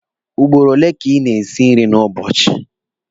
Ugboro ole ka ị na-esi nri n'ụbọchị.